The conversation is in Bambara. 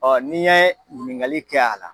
Ɔ n'i yɛ ɲininkali kɛ a la